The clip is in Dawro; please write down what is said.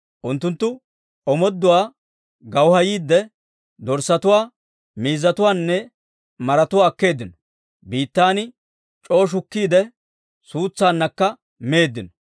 Unttunttu omooduwaa gawuhayiide, dorssatuwaa, miizzatuwaanne maratuwaa akkeeddino; biittan c'oo shukkiide, suutsaanakka meeddino.